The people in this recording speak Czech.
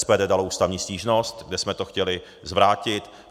SPD dalo ústavní stížnost, kde jsme to chtěli zvrátit.